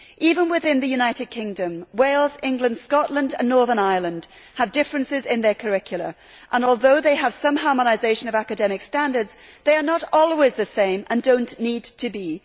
Even within the United Kingdom, Wales, England, Scotland and Northern Ireland have differences in their curricula and, although they have some harmonisation of academic standards, they are not always the same and do not need to be.